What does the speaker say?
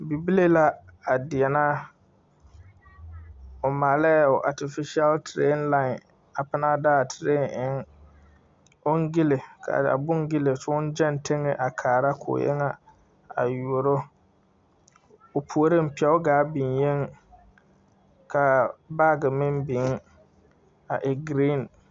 Bibile la gang vɔgle ne pou kye su kpare peɛlaa ka a kpare nuuri nye ee blue.